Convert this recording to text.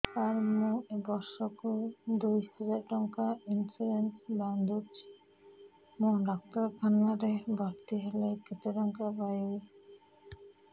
ସାର ମୁ ବର୍ଷ କୁ ଦୁଇ ହଜାର ଟଙ୍କା ଇନ୍ସୁରେନ୍ସ ବାନ୍ଧୁଛି ମୁ ଡାକ୍ତରଖାନା ରେ ଭର୍ତ୍ତିହେଲେ କେତେଟଙ୍କା ପାଇବି